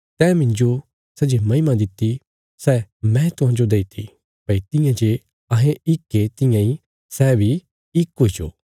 तैं मिन्जो सै जे महिमा दित्ति सै मैं तिन्हांजो दईती भई तियां जे अहें इक ये तियां इ सै बी इक हुईजो